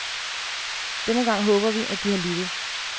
Denne gang håber vi, at de har lyttet.